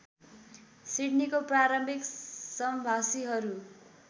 सिडनीको प्रारम्भिक सम्भाषीहरू